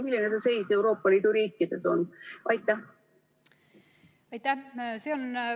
Milline on seis Euroopa Liidu riikides?